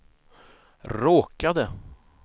råkade